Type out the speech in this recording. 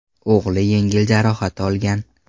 O‘g‘li yengil jarohat olgan.